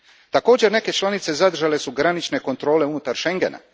Također, neke članice zadržale su granične kontrole unutar Schengena.